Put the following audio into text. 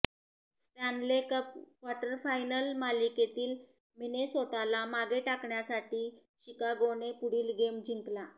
Stanley cup quarterfinal मालिकेतील मिनेसोटाला मागे टाकण्यासाठी शिकागोने पुढील गेम जिंकला